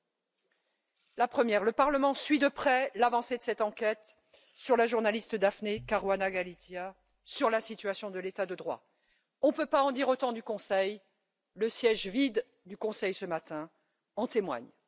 Voici la première le Parlement suit de près l'avancée de cette enquête sur la journaliste Daphne Caruana Galizia sur la situation de l'État de droit. Nous ne pouvons pas en dire autant du Conseil, le siège vide du Conseil, ce matin, en témoigne.